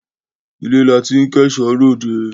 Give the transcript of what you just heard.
ilé la ti ń kẹ̀ṣọ́ ròde.